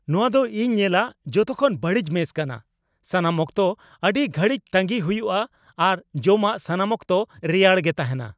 ᱱᱚᱣᱟ ᱫᱚ ᱤᱧ ᱧᱮᱞᱟᱜ ᱡᱚᱛᱚ ᱠᱷᱚᱱ ᱵᱟᱹᱲᱤᱡ ᱢᱮᱥ ᱠᱟᱱᱟ ᱾ ᱥᱟᱱᱟᱢ ᱚᱠᱛᱚ ᱟᱹᱰᱤ ᱜᱷᱟᱹᱲᱤᱡ ᱛᱟᱹᱜᱤᱭ ᱦᱩᱭᱩᱜᱼᱟ ᱟᱨ ᱡᱚᱢᱟᱜ ᱥᱟᱱᱟᱢ ᱚᱠᱛᱚ ᱨᱮᱭᱟᱲ ᱜᱮ ᱛᱟᱦᱮᱸᱱᱟ ᱾